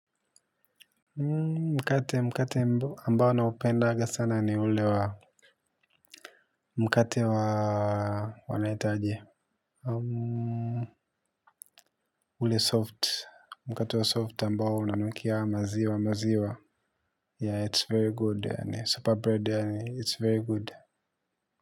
Mkate mkate ambao na upendaga sana ni ule wa mkate wa wanaita aje ule soft mkate wa soft ambao unanukia maziwa maziwa yeah it's very good super bread it's very good.